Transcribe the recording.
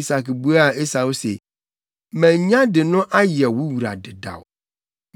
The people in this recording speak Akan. Isak buaa Esau se, “Manya de no ayɛ wo wura dedaw.